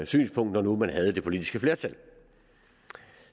synspunkt når nu man havde det politiske flertal